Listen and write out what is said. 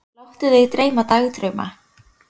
Láttu þig dreyma dagdrauma.